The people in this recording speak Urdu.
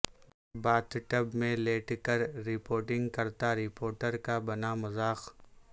باتھ ٹب میں لیٹ کر رپورٹنگ کرتا رپورٹر کا بنا مذاق